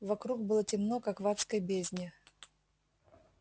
вокруг было темно как в адской бездне